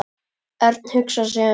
Örn hugsaði sig um.